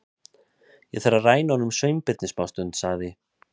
Ég þarf að ræna honum Sveinbirni smástund- sagði